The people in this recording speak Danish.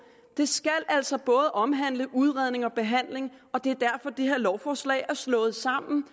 det skal altså både omhandle udredning og behandling og det er derfor det her lovforslag er slået sammen